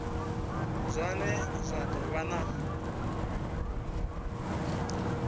zwine zwa do vha na